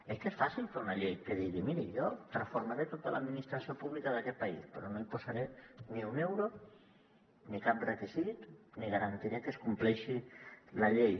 és que és fàcil fer una llei que digui miri jo transformaré tota l’administració pública d’aquest país però no hi posaré ni un euro ni cap requisit ni garantiré que es compleixi la llei